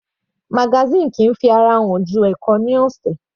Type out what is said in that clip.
Magazine kìí fi ara hàn ju ẹ̀ẹ̀kan ní ọ̀sẹ̀.